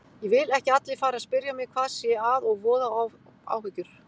Ég vil ekki að allir fari að spyrja mig hvað sé að og voða áhyggjur.